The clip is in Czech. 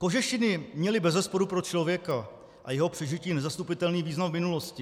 Kožešiny měly bezesporu pro člověka a jeho přežití nezastupitelný význam v minulosti.